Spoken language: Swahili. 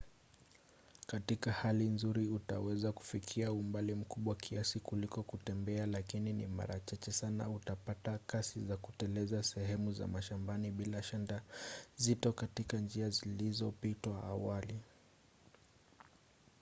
katika hali nzuri utaweza kufikia umbali mkubwa kiasi kuliko kutembea – lakini ni mara chache sana utapata kasi za kuteleza sehemu za mashambani bila shanta nzito katika njia zilizopitiwa awali